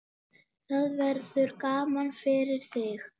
Það verður gaman fyrir þig.